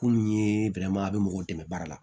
Kunun ye a bɛ mɔgɔw dɛmɛ baara la